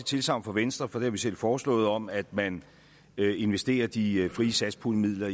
tilsagn fra venstre for det har vi selv foreslået om at man investerer de frie satspuljemidler